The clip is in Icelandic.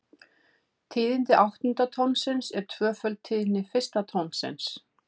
Tíðni áttunda tónsins er tvöföld tíðni fyrsta tónsins.